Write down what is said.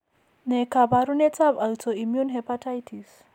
Ne kaabarunetap Autoimmune hepatitis?